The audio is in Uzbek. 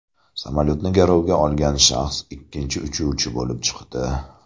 Samolyotni garovga olgan shaxs ikkinchi uchuvchi bo‘lib chiqdi.